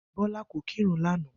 Bó̩lá kò kírun lánàá